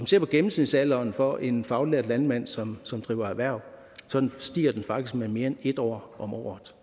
ser på gennemsnitsalderen for en faglært landmænd som som driver erhverv stiger den faktisk med mere end et år om året